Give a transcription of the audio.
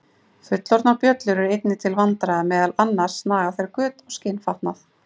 Fullorðnar bjöllur eru einnig til vandræða, meðal annars naga þær göt á skinnfatnað.